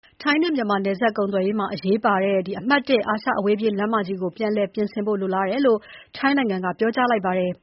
ထိုင်းနဲ့ မြန်မာနယ်စပ်ကုန်သွယ်ရေးမှာ အရေးပါတဲ့ အမှတ် ၁ အာရှအဝေးပြေးလမ်းမကြီးကို ပြန်လည်ပြင်ဆင်နိုင်ဖို့ လိုလားတယ်လို့ ထိုင်းနိုင်ငံက ပြောကြားလိုက်ပါတယ်